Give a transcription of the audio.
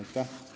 Aitäh!